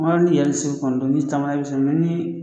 tama nii